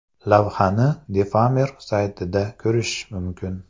Lavhani Defamer saytida ko‘rish mumkin.